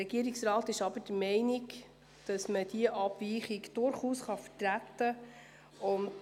Der Regierungsrat ist jedoch der Meinung, dass diese Abweichung durchaus vertretbar ist.